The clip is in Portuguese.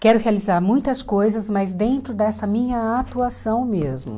Quero realizar muitas coisas, mas dentro dessa minha atuação mesmo.